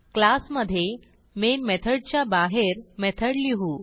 class मधे main मेथडच्या बाहेर मेथड लिहू